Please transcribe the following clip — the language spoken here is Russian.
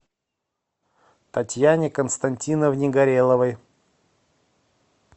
татьяне константиновне гореловой